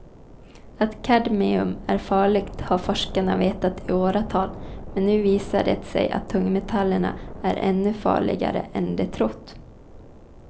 Att kadmium är farligt har forskarna vetat i åratal men nu visar det sig att tungmetallen är ännu farligare än de trott.